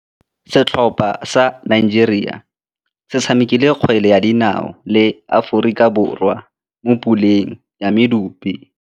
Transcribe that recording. Setlhopha sa Nigeria se tshamekile kgwele ya dinaô le Aforika Borwa mo puleng ya medupe.